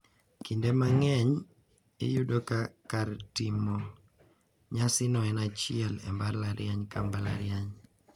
Kinde mang`eny iyudo ka kar timo nyasino en achiel e mbalariany ka mbalariany.